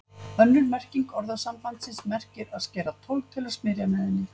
Önnur merking orðasambandsins merkir að skera tólg til að smyrja með henni.